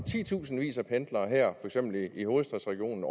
titusindvis af pendlere i hovedstadsregionen